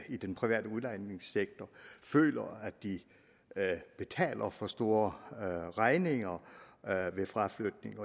i den private udlejningssektor føler at de betaler for store regninger ved fraflytning